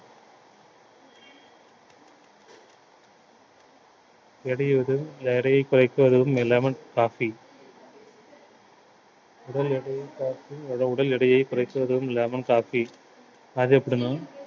இடையூறு இந்த எடையை குறைக்க உதவும் lemon coffee உடல் எடையைக் coffee உடல் எடையைக் குறைப்பதும் lemon coffee அது எப்படின்னா